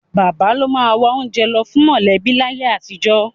Bàbá ló máa wá oúnjẹ lọ fún mọ̀lẹ́bí láyé àtijọ́